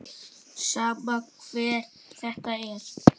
Sama hver þetta er.